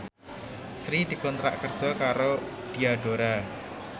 Sri dikontrak kerja karo Diadora